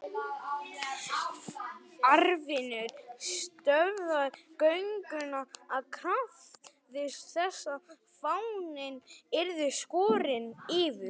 Arnfinnur stöðvaði gönguna og krafðist þess að fáninn yrði skorinn niður.